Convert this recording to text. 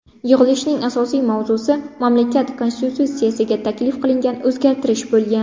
Yig‘ilishning asosiy mavzusi mamlakat Konstitutsiyasiga taklif qilingan o‘zgartirish bo‘lgan.